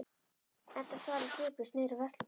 Edda starir sviplaus niður á veisluborð.